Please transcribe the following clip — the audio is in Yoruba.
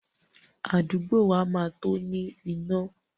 Àdúgbò wa máa tó ní iná.